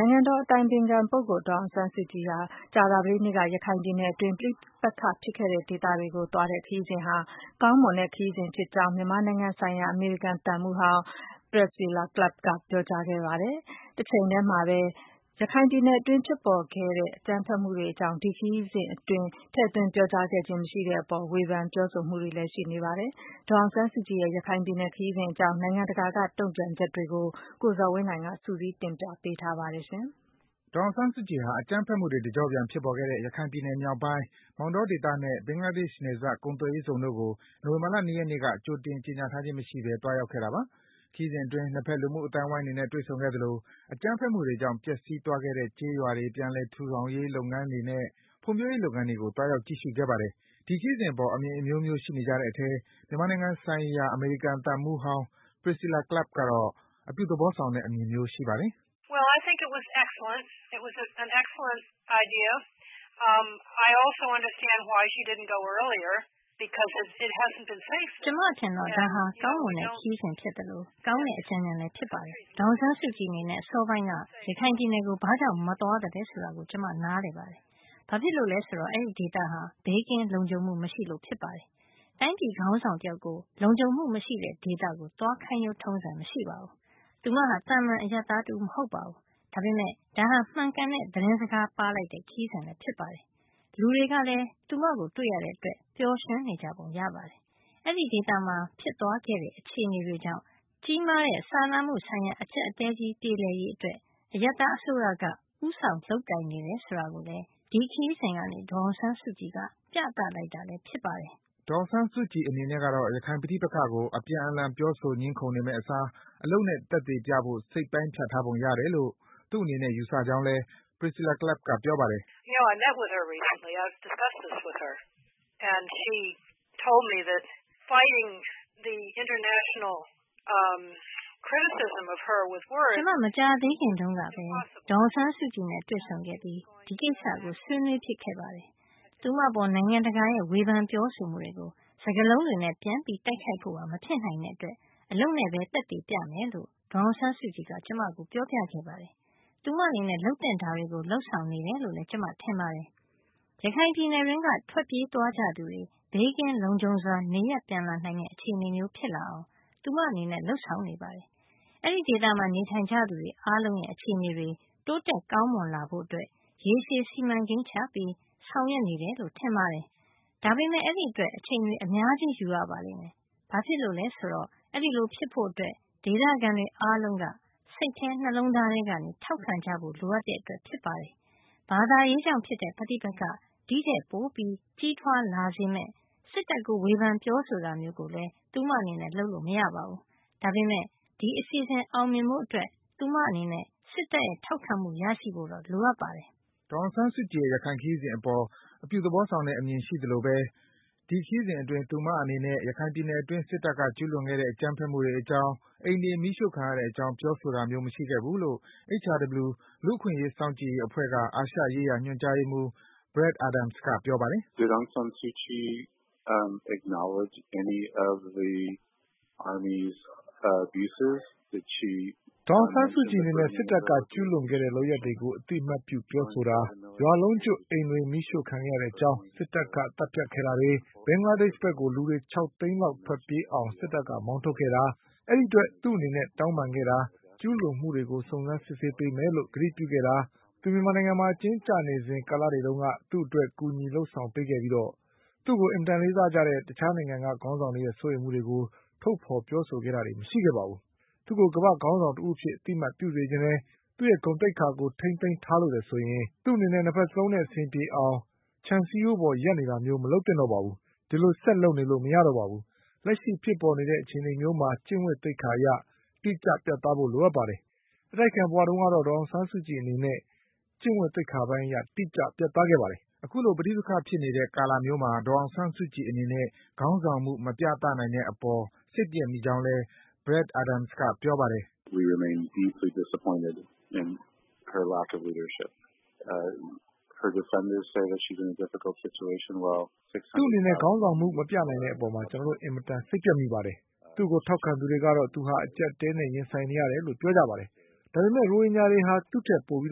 ိုင်ငံတော်အတိုင်ပင်ခံပုဂ္ဂိုလ် ဒေါ်အောင်ဆန်းစုကြည် ကြာသပတေးနေ့က ရခိုင်ပြည်နယ်အတွင်း ပဋိပက္ခ ဖြစ်ခဲ့တဲ့ ဒေသတွေကို သွားတဲ့ခရီးစဉ်ဟာ ကောင်းမွန်တဲ့ ခရီးစဉ်ဖြစ်ကြောင်း မြန်မာနိုင်ငံဆိုင်ရာ အမေရိကန်သံမှူးဟောင်း Priscilla Clapp က ပြောကြား လိုက်ပါတယ်။ တချိန်ထဲမှာဘဲ ရခိုင်ပြည်နယ်အတွင်း ဖြစ်ပေါ်ခဲ့တဲ့ အကြမ်းဖက်မှုတွေအကြောင်း ဒီခရီးစဉ်အတွင်း ထည့်သွင်း ပြောကြားခဲ့ခြင်း မရှိတဲ့အပေါ် ဝေဖန် ပြောဆိုမှုတွေလည်း ရှိနေပါတယ်။ ဒေါ်အောင်ဆန်းစုကြည်ရဲ့ ရခိုင်ပြည်နယ် ခရီးစဉ်အကြောင်း နိုင်ငံတကာက တုန့်ပြန်ချက်တွေကို ကိုဇော်ဝင်းလှိုင်က စုစည်း တင်ပြပေးထားပါတယ်။ ဒေါ်အောင်ဆန်းစုကြည်ဟာ အကြမ်းဖက်မှုတွေ တကျော့ပြန် ဖြစ်ပေါ်ခဲ့တဲ့ ရခိုင်ပြည်နယ်မြောက်ပိုင်း၊ မောင်တောဒေသနဲ့ ဘင်္ဂလားဒေ့ရှ်နယ်စပ် ကုန်သွယ်ရေးဇုန်တို့ကို နိုဝင်ဘာလ ၂ ရက်နေ့က ကြိုတင် ကြေညာထားခြင်းမရှိဘဲ သွားရောက်ခဲ့တာပါ။ ခရီးစဉ်အတွင်း နှစ်ဘက် လူမှုအသိုင်းဝိုင်းတွေနဲ့ တွေ့ဆုံခဲ့သလို အကြမ်းဖက်မှုတွေကြောင့် ပျက်ဆီးသွားခဲ့တဲ့ ကျေးရွာတွေ ပြန်လည်ထူထောင်ရေး လုပ်ငန်းတွေနဲ့ ဖွံ့ဖြိုးရေး လုပ်ငန်းတွေကို သွားရောက် ကြည့်ရှုခဲ့ပါတယ်။ ဒီခရီးစဉ်အပေါ် အမြင်အမျိုးမျိုး ရှိနေကြတဲ့အထဲ မြန်မာနိုင်ငံဆိုင်ရာ အမေရိကန်သံမှူးဟောင်း Priscilla Clapp ကတော့ အပြုသဘောဆောင်တဲ့ အမြင်မျိုး ရှိပါတယ်။ “ကျမအထင်တော့ ဒါဟာ ကောင်းမွန်တဲ့ ခရီးစဉ်အဖြစ်သလို ကောင်းတဲ့ အကြံဉာဏ်လည်း ဖြစ်ပါတယ်။ ဒေါ်အောင်ဆန်းစုကြည်အနေနဲ့ အစောပိုင်းက ရခိုင်ပြည်နယ်ကို ဘာကြောင့် မသွားသလဲဆိုတာကိုလည်း ကျမ နားလည်ပါတယ်။ ဘာဖြစ်လို့လဲဆိုတော့ အဲဒီဒေသဟာ ဘေးကင်း လုံခြုံမှု မရှိလို့ ဖြစ်ပါတယ်။ တိုင်းပြည်ခေါင်းဆောင်တယောက်ကို လုံခြုံမှု မရှိတဲ့ဒေသကို သွားခိုင်းရိုး ထုံးစံမရှိပါဘူး၊ သူမဟာ သာမှန် အရပ်သားတဦးမဟုတ်ပါဘူး။ ဒါပေမယ့် ဒါဟာ မှန်ကန်တဲ့ သတင်းစကား ပါးလိုက်တဲ့ ခရီးစဉ်လည်း ဖြစ်ပါတယ်။ လူတွေကလည်း သူမကို တွေ့ရတဲ့အတွက် ပျော်ရွှင်နေကြပုံ ကျပါတယ်။ အဲဒီဒေသမှာ ဖြစ်သွားခဲ့တဲ့ အခြေအနေတွေကြောင့် ကြီးမားတဲ့ စာနာမှုဆိုင်ရာ အကျပ်အတည်းကြီး ပြေလည်ရေးအတွက် အရပ်သားအစိုးရက ဦးဆောင် လုပ်ကိုင်နေတယ်ဆိုတာကိုလည်း ဒီခရီးစဉ်ကနေ ဒေါ်အောင်ဆန်းစုကြည်က ပြသလိုက်တာလည်း ဖြစ်ပါတယ်။” ဒေါ်အောင်ဆန်းစုကြည်အနေနဲ့ကတော့ ရခိုင်ပဋိပက္ခကို အပြန်အလှန် ပြောဆို ငြင်းခုန်နေမယ့်အစား အလုပ်နဲ့ သက်သေပြဖို့ စိတ်ပိုင်းဖြတ်ထားပုံရလို့ သူ့အနေနဲ့ ယူဆကြောင်းလည်း Priscilla Clapp က ပြောပါတယ်။ “ကျမ မကြာသေးခင်တုန်းကဘဲ ဒေါ်အောင်ဆန်းစုကြည်နဲ့ တွေ့ဆုံခဲ့ပြီး ဒီကိစ္စကို ဆွေးနွေးဖြစ်ခဲ့ပါတယ်။ သူမအပေါ် နိုင်ငံတကာရဲ့ ဝေဖန် ပြောဆိုမှုတွေကို စကားလုံးတွေနဲ့ ပြန်လည် တိုက်ခိုက်ဖို့ဟာ မဖြစ်နိုင်တဲ့အတွက် အလုပ်နဲ့ သက်သေ ပြမယ်လို့ ဒေါ်အောင်ဆန်းစုကြည်က ကျမကို ပြောပြခဲ့ပါတယ်။ သူမအနေနဲ့ လုပ်သင့်တာတွေကို လုပ်ဆောင်နေတယ်လို့ ကျမ ထင်ပါတယ်။ ရခိုင်ပြည်နယ်အတွင်းက ထွက်ပြေးသွားကြသူတွေ ဘေးကင်း လုံခြုံစွာ နေရပ်ပြန်လာနိုင်မယ့် အခြေအနေမျိုးဖြစ်လာအောင် သူမအနေနဲ့ လုပ်ဆောင်နေပါတယ်။ အဲဒီဒေသမှာ နေထိုင်ကြသူတွေ အားလုံးရဲ့ အခြေအနေတွေ တိုးတက် ကောင်းမွန်လာဖို့ ရေရှည် စီမံကိန်းချပြီး သူမအနေနဲ့ ဆောင်ရွက်နေတယ်လို့ ထင်ပါတယ်။ ဒါပေမယ့် အဲဒီအတွက် အချိန်တွေ အများကြီး ယူရပါလိမ့်မယ်။ ဘာဖြစ်လို့လဲဆိုတော့ အဲဒီလို ဖြစ်ဖို့အတွက် ဒေသခံတွေအားလုံးက စိတ်ထဲ၊ နှလုံးသားထဲကနေ ထောက်ခံကြဖို့ လိုအပ်တဲ့အတွက် ဖြစ်ပါတယ်။ ဘာသာရေးကြောင် ဖြစ်တဲ့ ပဋိပက္ခ ဒီထက် ပိုပြီး ကြီးထွားလာစေမယ့် စစ်တပ်ကို ဝေဖန် ပြောဆိုတာမျိုးလည်း သူမအနေနဲ့ လုပ်လို့ မရပါဘူး။ ဒါပေမယ့် ဒီအစီအစဉ် အောင်မြင်ဖို့အတွက် သူမအနေနဲ့ စစ်တပ်ရဲ့ ထောက်ခံမှု ရရှိဖို့တော့ လိုအပ်ပါတယ်။” ဒေါ်အောင်ဆန်းစုကြည်ရဲ့ ရခိုင်ခရီးစဉ်အပေါ် အပြုသဘောဆောင်တဲ့ အမြင်ရှိသလိုဘဲ ဒီခရီးစဉ်အတွင်း သူမအနေနဲ့ ရခိုင်ပြည်နယ်အတွင်း စစ်တပ်က ကျူးလွန်ခဲ့တဲ့ အကြမ်းဖက်မှုတွေအကြောင်း၊ အိမ်တွေ မီးရှို့ခံရတဲ့အကြောင်း ပြောဆိုတာမျိုး မရှိခဲ့ဘူးလို့ HRW လူ့အခွင့်အရေး စောင့်ကြည့်ရေးအဖွဲ့က အာရှရေးရာ ညွန်ကြားရေးမှူး Brad Adams က ပြောပါတယ်။ “ဒေါ်အောင်ဆန်းစုကြည်အနေနဲ့ စစ်တပ်က ကျူးလွန်ခဲ့တဲ့ လုပ်ရပ်တွေကို အသိအမှတ်ပြုပြောဆိုတာ၊ ရွာလုံးကျွတ် အိမ်တွေ မီးရှို့ခံခဲ့ရတဲ့အကြောင်း၊ စစ်တပ်က သတ်ဖြတ်ခဲ့တာတွေ၊ ဘင်္ဂလားဒေ့ရှ်ဘက်ကို လူတွေ ၆ သိန်းလောက် ထွက်ပြေးအောင် စစ်တပ်က မောင်းထုတ်ခဲ့တာ၊ အဲဒီအတွက် သူမအနေနဲ့ တောင်းပန်ခဲ့တာ၊ ကျူးလွန်မှုတွေကို စုံစမ်း စစ်ဆေးပေးမယ်လို့ ကတိပြုခဲ့တာ၊ သူမ မြန်မာနိုင်ငံမှာ အကျဉ်းကျနေစဉ် ကာလတွေတုန်းက သူမအတွက် ကူညီ လုပ်ဆောင်ပေးခဲ့ကြပြီး သူမကို အင်မတန် လေးစားကြတဲ့ တခြားနိုင်ငံတွေက ခေါင်းဆောင်တွေရဲ့ စိုးရိမ်မှုတွေကို ထုတ်ဖော် ပြောဆိုခဲ့တာတွေ မရှိခဲ့ပါဘူး။ သူမကို ကမ္ဘာ့ခေါင်းဆောင် တဦးအဖြစ် အသိအမှတ်ပြုစေချင်တယ်၊ သူမရဲ့ ဂုဏ်သိက္ခာကို ထိန်းသိမ်းထားလိုတယ်ဆိုရင် သူမအနေနဲ့ နှစ်ဘက်စလုံးနဲ့ အဆင်ပြေအောင် ခြံစည်းရိုးပေါ် ရပ်နေတာမျိုး မလုပ်သင့်တော့ပါဘူး။ အဲဒီလို ဆက်လုပ်နေလို့ မရတော့ပါဘူး။ လက်ရှိ ဖြစ်ပေါ်နေတဲ့ အခြေအနေမျိုးမှာ ကျင့်ဝတ်သိက္ခာအရ တိကျ ပြတ်သားဖို့ လိုအပ်ပါတယ်။ အတိုက်အခံ ဘဝတုန်းကတော့ ဒေါ်အောင်ဆန်းစုကြည်အနေနဲ့ ကျင့်ဝတ်သိက္ခာပိုင်းအရ တိကျ ပြတ်သားခဲ့ပါတယ်။” အခုလို ပဋိပက္ခဖြစ်နေတဲ့ ကာလမျိုးမှာ ဒေါ်အောင်ဆန်းစုကြည်အနေနဲ့ ခေါင်းဆောင်မှု မပြသနိုင်တဲ့အပေါ် စိတ်ပျက်မိကြောင်းလည်း Brad Adams က ဆက်ပြောပါတယ်။ “သူမအနေနဲ့ ခေါင်းဆောင်မှု မပြနိုင်တဲ့အပေါ် ကျနော်တို့ အင်မတန် စိတ်ပျက်မိပါတယ်။ သူမကို ထောက်ခံသူတွေကတော့ သူမဟာ အကြပ်အတည်းနဲ့ ရင်ဆိုင်နေရတယ်လို့ ပြောပါတယ်။ ဒါပေမယ့် ရိုဟင်ဂျာတွေဟာ သူမထက် ပိုပြီး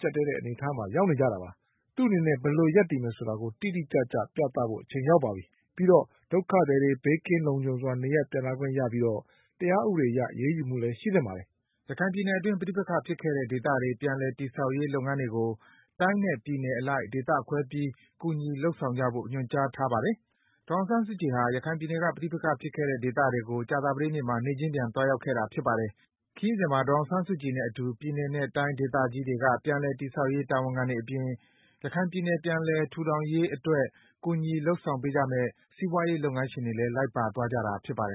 ကြပ်တည်းတဲ့ အနေအထားမှာ ရောက်နေကြတာပါ။ သူမအနေနဲ့ ဘယ်လို ရပ်တည်မယ်ဆိုတာ တိကျစွာ ပြသဖို့ အချိန်ရောက်ပါပြီ။ ပြီးတော့ ဒုက္ခသည်တွေ ဘေးကင်းလုံခြုံစွာ နေရပ်ပြန်လာခွင့် ရပြီး တရားဥပဒေအရ အရေးယူမှုလည်း ရှိသင့်ပါတယ်။” ရခိုင်ပြည်နယ်အတွင်း ပဋိပက္ခဖြစ်ခဲ့တဲ့ ဒေသတွေက ပြန်လည် တည်ဆောက်ရေး လုပ်ငန်းတွေကို တိုင်းနဲ့ ပြည်နယ်အလိုက် ဒေသခွဲပြီး ကူညီ လုပ်ဆောင်ဖို့ ညွန်ကြားထားတာပါ။ ဒေါ်အောင်ဆန်းစုကြည်ဟာ ရခိုင်ပြည်နယ်က ပဋိပက္ခဖြစ်ခဲ့တဲ့ ဒေသတွေကို ကြာသပတေးနေ့မှာ နေ့ချင်းပြန် သွားရောက်ခဲ့တာ ဖြစ်ပါတယ်။ ခရီးစဉ်မှာ ဒေါ်အောင်ဆန်းစုကြည်နဲ့အတူ ပြည်နယ်နဲ့တိုင်းဒေသကြီးတွေက ပြန်လည် တည်ဆောက်ရေး တာဝန်ခံတွေအပြင် ရခိုင်ပြည်နယ် ပြန်လည်ထူထောင်ရေးအတွက် ကူညီ လုပ်ဆောင်ပေးကြမယ့် စီးပွားရေးလုပ်ငန်းရှင်တွေလည်း လိုက်ပါသွားကြတာ ဖြစ်ပါတယ်